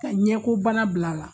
Ka ɲɛko bana bila a la.